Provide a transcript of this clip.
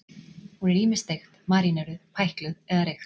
Hún er ýmist steikt, maríneruð, pækluð eða reykt.